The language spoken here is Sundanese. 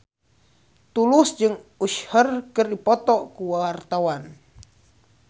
Tulus jeung Usher keur dipoto ku wartawan